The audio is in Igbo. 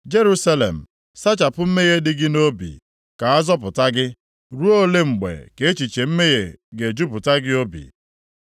Jerusalem, sachapụ mmehie dị gị nʼobi, ka a zọpụta gị. Ruo ole mgbe ka echiche mmehie ga-ejupụta gị obi?